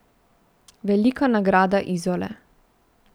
Velika nagrada Izole.